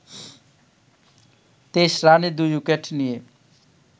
২৩ রানে ২ উইকেট নিয়ে